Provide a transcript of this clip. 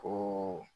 O